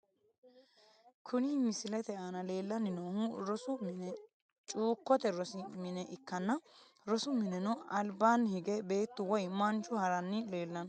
Kuni misilete aana leelani noohu rosu mine cuukote rosi mine ikanna rosu mineno albaani hige beetu woyi manchu harani lelano.